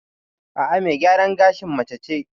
A'a, me gyaran gashin mace ce.